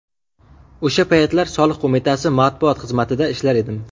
O‘sha paytlar Soliq qo‘mitasi matbuot xizmatida ishlar edim.